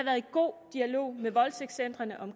god dialog med voldtægtscentrene om